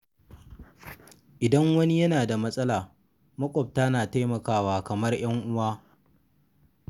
Idan wani yana da matsala, maƙwabta na taimakawa kamar 'yan uwa.